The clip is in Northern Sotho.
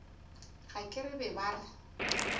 ga ke re ba re